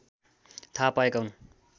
थाहा पाएका हुन्